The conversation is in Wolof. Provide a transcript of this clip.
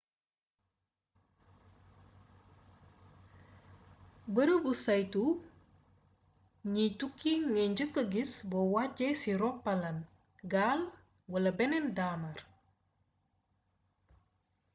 beereebu saytu gniy tukki ngay njeekkee gis bo waccé ci ropalaan gaal wala bénn daamar